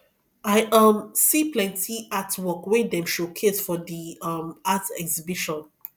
i um see plenty artwork wey dem showcase for di um art exhibition